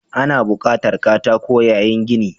Ana buƙatar katako yayin gini.